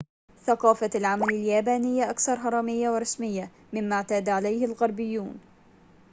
ثقافة العمل اليابانية أكثر هرمية ورسمية مما اعتاد عليه الغربيون